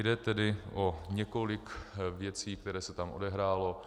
Jde tedy o několik věcí, které se tam odehrály.